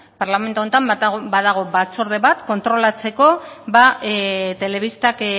parlamentu honetan badago batzorde bat kontrolatzeko telebistak